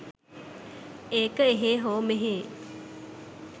ඒක එහේ හෝ මෙහේ